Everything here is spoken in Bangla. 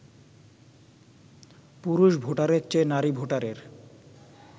পুরুষ ভোটারের চেয়ে নারী ভোটারের